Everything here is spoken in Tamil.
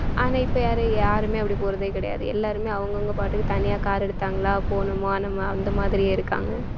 ஆனா இப்ப யாரு யாருமே அப்படி போறதே கிடையாது எல்லாருமே அவங்க அவங்க பாட்டுக்கு தனியா car எடுத்தாங்களா போனோமா நம்ம அந்த மாதிரியே இருக்காங்க